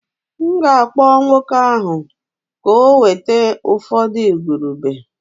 M'gākpọ nwoke ahu ka ọ weta ufọdu igurube